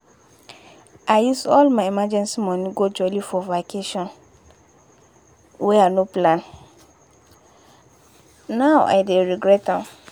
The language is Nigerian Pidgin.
i use all my emergency money go jolly for vacation, wey i no plan, now i dey regret am.